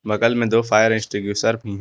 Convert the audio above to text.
बगल में दो फायर एसटिंग्विशर भी है।